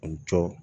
U jɔ